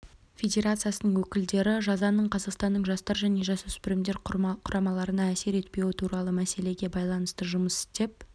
федерациясының өкілдері жазаның қазақстанның жастар және жасөспірімдер құрамаларына әсер етпеуі туралы мәселеге байланысты жұмыс істеп